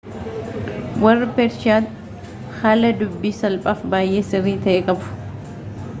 warri peershiyaa haala dubbii salphaafi baayyee sirrii ta'e qabu